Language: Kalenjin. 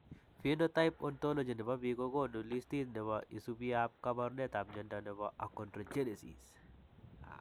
Phenotype Ontology ne po biik ko konu listiit ne isubiap kaabarunetap mnyando ne po Achondrogenesis.